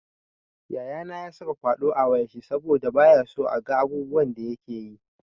Yayana ya saka kwaɗo a wayar shi saboda bayaso a ga abubuwan da yakeyi.